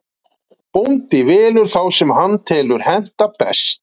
Bóndinn velur þá sem hann telur henta best.